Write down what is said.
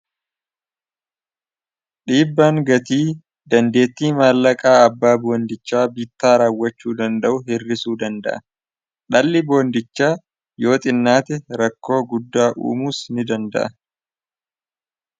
dhiibbaan gatii dandeetti maallaqaa abbaa boondichaa bittaa raawwachuu danda'u hirrisuu danda'a dhalli boondichaa yoo xinnaati rakkoo guddaa uumuus ni danda'a